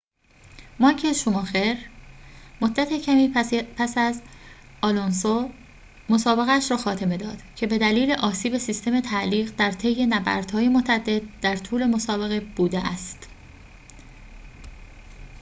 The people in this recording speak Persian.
مایکل شوماخر مدت کمی پس از آلونسو مسابقه‌اش را خاتمه داد که بدلیل آسیب سیستم تعلیق در طی نبردهای متعدد در طول مسابقه بوده است